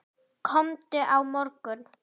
Komdu á morgun.